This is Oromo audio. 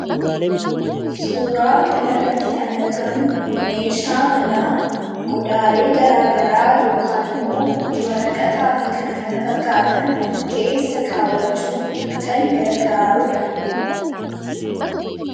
Suuraa kana irratti kan argamu meeshaa manaa, qodaalee garaagaraa yookaan immoo waraqataa fi kan kana fakkaatan keessa kaawwachuuf kan gargaaruudha.